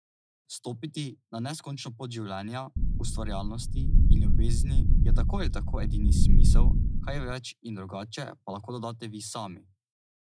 Stopiti na neskončno pot življenja, ustvarjalnosti in ljubezni je tako ali tako edini smisel, kaj več in drugače pa lahko dodate vi sami!